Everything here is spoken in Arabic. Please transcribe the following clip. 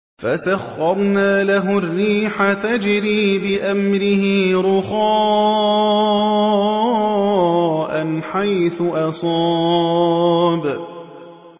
فَسَخَّرْنَا لَهُ الرِّيحَ تَجْرِي بِأَمْرِهِ رُخَاءً حَيْثُ أَصَابَ